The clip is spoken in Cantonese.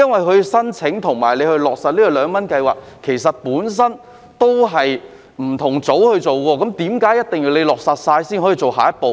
其實，申請和落實二元優惠計劃是由不同組別負責，為何一定要在落實後才可以做下一步呢？